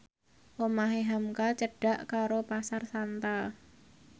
omahe hamka cedhak karo Pasar Santa